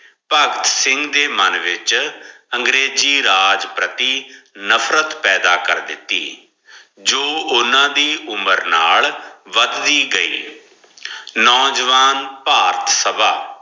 ਪਗ ਸਿਗਨ ਦੇ ਮਨ ਵਿਚ ਅੰਗ੍ਰਾਯ੍ਜੀ ਰਾਜ੍ਪਾਰਤੀ ਨਫਰਤ ਪਾਯਦਾ ਕਰ ਦਿਤੀ ਜੋ ਓਨਾ ਦੀ ਉਮਰ ਨਾਲ ਵਾਦ ਵੀ ਗਈ ਨੋਜਵਾਨ ਫਾਰਟ ਸਬ